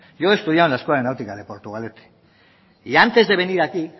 yo he estudiado en la escuela de náutica de portugalete y antes de venir aquí